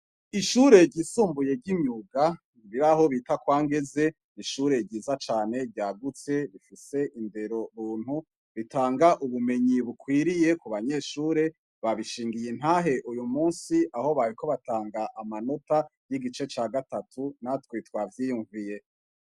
Ishure ryisumbuye ry'imyuga riraho bita Kwa Ngeze, n'ishure ryiza cane ryagutse rifise indero buntu, ritanga ubumenyi bukwiriye ku banyeshure. Babishingiye intahe uyu munsi aho bariko batanga amanota y'igice ca gatatu natwe twavyiyumviye.